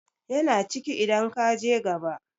yana ciki idan ka je gaba